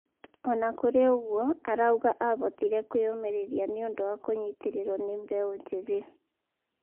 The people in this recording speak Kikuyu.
ona kũri oguo, arauga ahotire kwĩyũmĩrĩria niũndũ wa kũnyitĩrirwo mũno ni mbeũ njĩthĩ